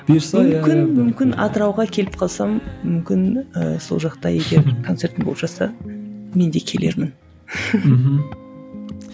бұйырса иә иә мүмкін мүмкін атырауға келіп қалсам мүмкін ііі сол жақта егер концертің болып жатса мен де келермін мхм